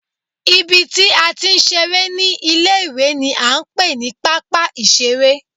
Ibi tí a ti ń ṣeré ní ilé ìwé ni à ń pè ní pápá ìṣeré